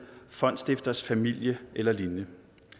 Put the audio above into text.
fondsstifters familie eller lignende